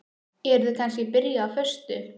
Eruð þið kannski byrjuð á föstu?